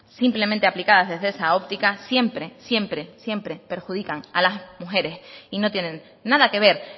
simplemente aplicadas desde esa óptica siempre siempre siempre perjudican a las mujeres y no tienen nada que ver